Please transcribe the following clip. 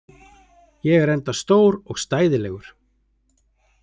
Ég er enda stór og stæðilegur.